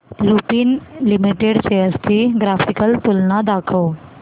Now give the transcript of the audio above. Lupin limited shares ची graphical तुलना दाखव